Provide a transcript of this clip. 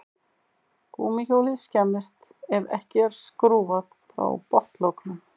Gúmmíhjólið skemmist ef ekki er skrúfað frá botnlokunum.